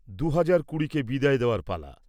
দু'হাজার কুড়িকে বিদায় দেওয়ার পালা।